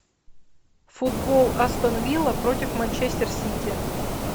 футбол астон вилла против манчестер сити